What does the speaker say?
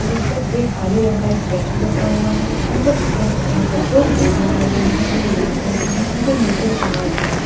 जिस पर एक काले रंग का एक स्टेच्यू रखा हुआ है अंदर की तरफ़ जाने का दो बोर्ड लगाए गए है जो लाल रंग के है। उनपे नोटिस लगा हुआ है।